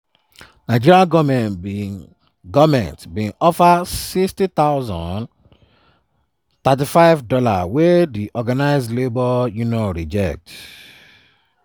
nigeria goment bin goment bin offer 60000 ($35) wey di organised labour unions reject.